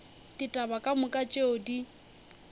ditaba ka moka tšeo di